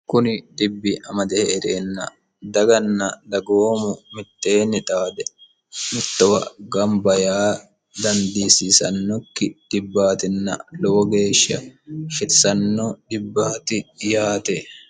kuni dibbi amade hee'reenna daganna dagoomu mitteenni xaade mittowa gamba yaa dandiisiisannokki dibbaatinna lowo geeshsha shetissano dibbaati yaate